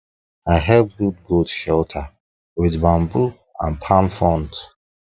i help build goat shelter with bamboo and palm fronds